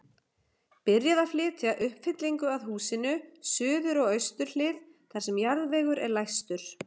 Byrjað að flytja uppfyllingu að húsinu, suður og austur hlið, þar sem jarðvegur er lægstur.